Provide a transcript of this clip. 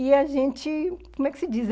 E a gente, como é que se diz?